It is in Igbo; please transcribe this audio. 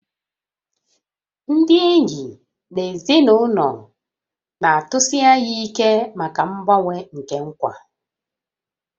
Ndị enyi na ezinụlọ na-atụsi anya ike maka mgbanwe nke nkwa